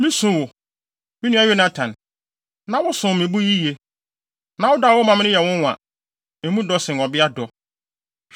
Misu wo, me nua Yonatan! Na wosom me bo yiye. Na wo dɔ a wowɔ ma me no yɛ nwonwa; emu dɔ sen ɔbea dɔ!